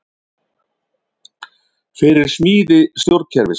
Fyrir smíði stjórnkerfis